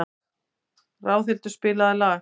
Ráðhildur, spilaðu lag.